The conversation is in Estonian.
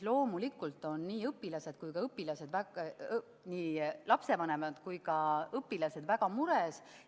Loomulikult on nii lapsevanemad kui ka õpilased väga mures.